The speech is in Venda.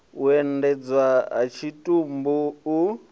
u endedzwa ha tshitumbu u